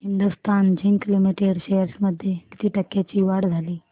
Hindustan zinc limited shares मध्ये किती टक्क्यांची वाढ झाली